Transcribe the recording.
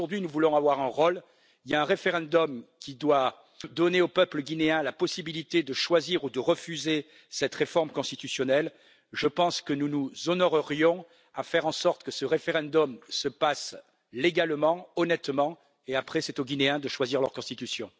Si aujourd'hui nous voulons avoir un rôle, il y a un référendum qui doit donner au peuple guinéen la possibilité de choisir ou de refuser cette réforme constitutionnelle, et je pense que nous nous honorerions à faire en sorte que ce référendum se passe légalement, honnêtement mais ensuite, c'est aux Guinéens de choisir leur constitution.